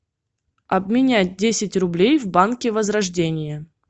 обменять десять рублей в банке возрождение